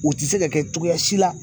O te se ka kɛ cogoya si la